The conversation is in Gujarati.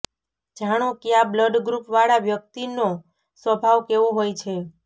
જાણો ક્યાં બ્લડ ગ્રુપ વાળા વ્યક્તિનો સ્વભાવ કેવો હોય છે